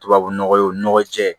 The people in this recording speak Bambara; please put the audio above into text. Tubabunɔgɔ jɛ